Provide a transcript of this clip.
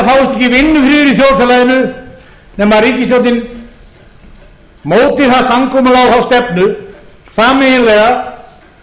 það fáist ekki vinnufriður í þjóðfélaginu nema að ríkisstjórnin móti það samkomulag og þá stefnu sameiginlega